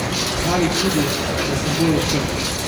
Pravi tudi, da sem bolj odprt.